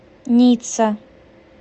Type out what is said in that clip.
ницца